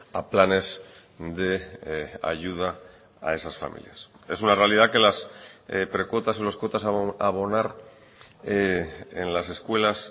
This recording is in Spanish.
a planes de ayuda a esas familias es una realidad que las precuotas o las cuotas a abonar en las escuelas